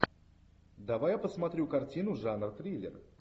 давай я посмотрю картину жанр триллер